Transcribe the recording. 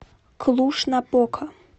клуж напока